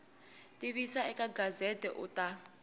tivisa eka gazette u ta